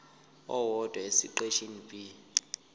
owodwa esiqeshini b